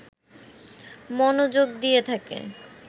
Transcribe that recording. মনযোগ দিয়ে থাকে